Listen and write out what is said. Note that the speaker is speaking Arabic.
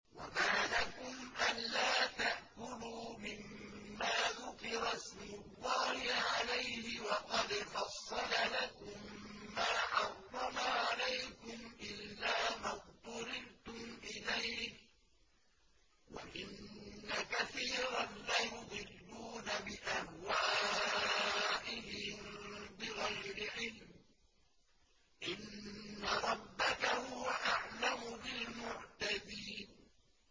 وَمَا لَكُمْ أَلَّا تَأْكُلُوا مِمَّا ذُكِرَ اسْمُ اللَّهِ عَلَيْهِ وَقَدْ فَصَّلَ لَكُم مَّا حَرَّمَ عَلَيْكُمْ إِلَّا مَا اضْطُرِرْتُمْ إِلَيْهِ ۗ وَإِنَّ كَثِيرًا لَّيُضِلُّونَ بِأَهْوَائِهِم بِغَيْرِ عِلْمٍ ۗ إِنَّ رَبَّكَ هُوَ أَعْلَمُ بِالْمُعْتَدِينَ